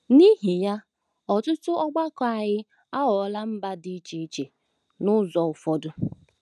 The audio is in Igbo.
N’ihi ya, ọtụtụ ọgbakọ anyị aghọọla mba dị iche iche n’ụzọ ụfọdụ.